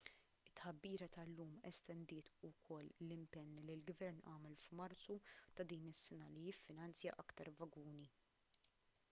it-tħabbira tal-lum estendiet ukoll l-impenn li l-gvern għamel f'marzu ta' din is-sena li jiffinanzja aktar vaguni